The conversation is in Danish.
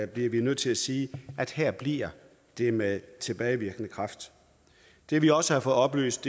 bliver vi nødt til at sige at her bliver det med tilbagevirkende kraft det vi også har fået oplyst